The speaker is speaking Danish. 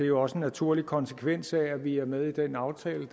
jo også en naturlig konsekvens af at vi er med i den aftale